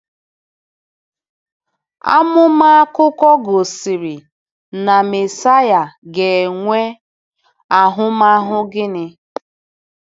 Amụma akụkọ gosiri na Mesaya ga-enwe ahụmahụ gịnị?